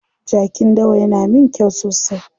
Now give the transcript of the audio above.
Jakin dawa yana min kyau sosai.